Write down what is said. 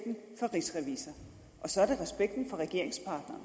rigsrevisor og så er det respekten for regeringspartneren